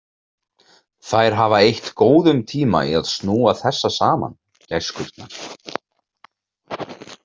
Þær hafa eytt góðum tíma í að snúa þessa saman, gæskurnar.